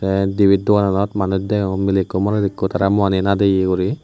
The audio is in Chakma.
te ebet doganot manuj degong milay ekku morot ekku tara muiani nadeye gori.